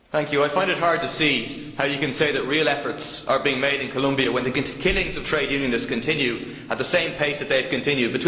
I find it hard to see how you can say that real efforts are being made in Colombia when the killings of trade unionists continue at the same pace that they have continued.